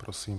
Prosím.